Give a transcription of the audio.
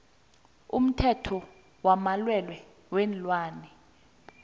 umthetho wamalwelwe weenlwana